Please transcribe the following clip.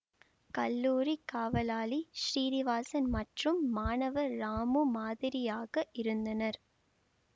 கல்லூரிக் காவலாளி ஸ்ரீனிவாசன் மற்றும் மாணவர் ராமு மாதிரியாக இருந்தனர்